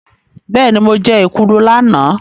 Bẹ́ẹ̀ni, mo jẹ́ èkuru lánàá.